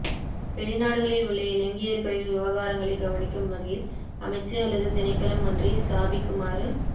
வெளிநாடுகளில் உள்ள இலங்கையர்களின் விவகாரங்களை கவனிக்கும் வகையில் அமைச்சு அல்லது திணைக்களம் ஒன்றை ஸ்தாபிக்குமாறு